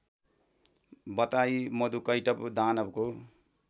बताई मधुकैटभ दानवको